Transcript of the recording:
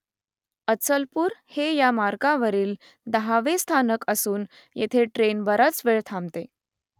अचलपूर हे या मार्गावरील दहावे स्थानक असून येथे ट्रेन बराच वेळ थांबते